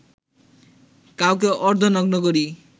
কাউকে অর্ধনগ্ন করি